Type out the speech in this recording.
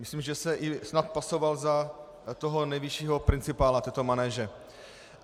Myslím, že se snad pasoval i za toho nejvyššího principála této manéže.